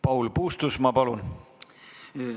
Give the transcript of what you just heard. Paul Puustusmaa, palun!